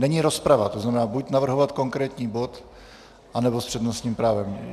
Není rozprava, to znamená buď navrhovat konkrétní bod, anebo s přednostním právem.